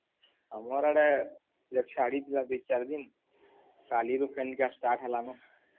ଆମର୍ ୟାଡେ ଛାଡ଼ି ଥିଲା ଦି ଚାର୍ ଦିନ କାଲିରୁ ଫେନେ କା start ହେଲାନ